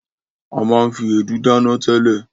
A máa ń fi èédú dáná tẹ́lẹ̀.